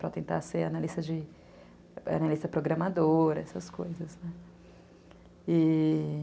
Para tentar ser analista programadora, essas coisas, né? e...